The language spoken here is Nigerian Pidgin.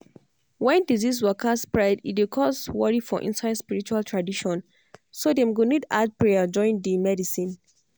wen disease waka spread e dey cause worry for inside spiritual tradition so dem go need add prayer join di medicine.